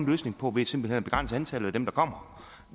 løsning på ved simpelt hen at begrænse antallet af dem der kommer